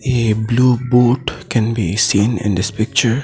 A blue boat can be seen in this picture.